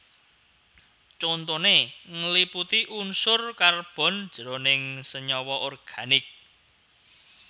Contoné ngliputi unsur karbon jroning senyawa organik